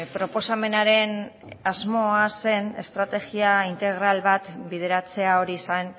proposamenaren asmoa zen estrategia integral bat bideratzea hori zen